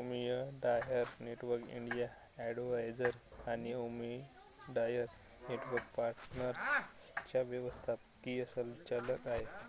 Omidyar network India advisors आणि Omidyar network पार्टनर्सच्या व्यवस्थापकीय संचालक आहेत